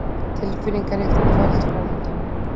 Tilfinningaríkt kvöld framundan.